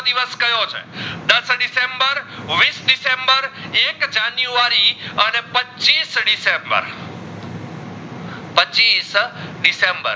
વીસ દિસેમ્બર એક જાનુવારી અને પચીસ દિસેમ્બર પચીસ દિસેમ્બર